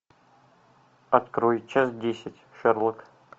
открой часть десять шерлок